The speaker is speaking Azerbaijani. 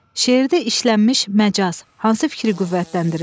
Şeirdə işlənmiş məcaz hansı fikri qüvvətləndirir?